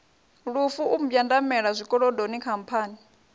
lufu u mbwandamela zwikolodoni khamphani